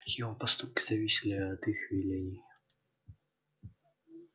его поступки зависели от их велений